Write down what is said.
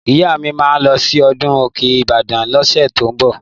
Ìyá mi mà lọsi ọdún òkẹ Ìbàdàn losẹ tò ń mbọ